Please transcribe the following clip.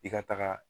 I ka taga